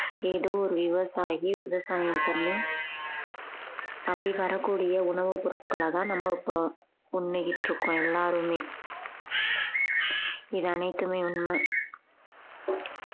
ஏதோ ஒரு விவசாயி விவசாயம் பண்ணி அப்படி வரக்கூடிய உணவுப் பொருட்களதான் நம்ம இப்போ உண்ணிக்கிட்டு இருக்கோம் எல்லாருமே இது அனைத்துமே உண்மை